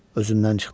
Özündən çıxdı.